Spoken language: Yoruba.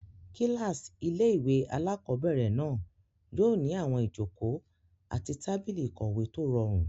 Kílásì ilé-ìwé alákobẹ̀rẹ̀ náà yóò ní àwọn ìjòkó àti tábìlì ìkọ̀wé tó rọrùn